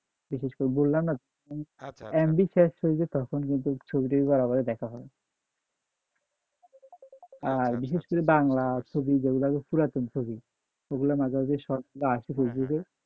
বিশেষ করে বললামনা MB শেষ হয়ে যায় তখন ছবি টবি দেখা হয় আর বিশেষ করে বাংলা ছবি যেগুলা পুরাতন ছবি অগুলা মাঝে মাঝে short আসে ফেসবুকে,